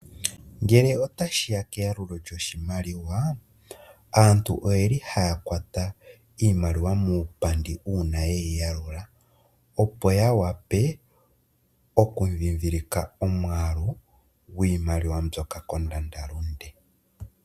Ngele tashiya keya lulo lyoshimaliwa aantu oyeli haya kwata iimaliwa mupandi uuna yeyi yalula opo yawape oku ndhindhilika omwaalu gwiimaliwa .mbyoka kondanda lunde .